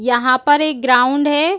यहां पर एक ग्राउंड है।